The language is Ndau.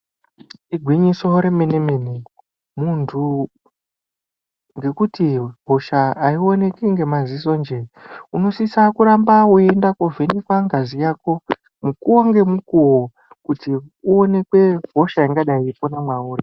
Igwinyiso remene mene muntu ngekuti hosha aionekwi nemaziso nje unosisa kuramba weienda kuvhenekwa ngazi yako mukuwo ngemukuwo kuti uonekwe hosha ingadi yeipona mwauri.